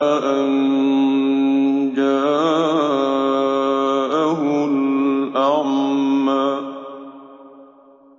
أَن جَاءَهُ الْأَعْمَىٰ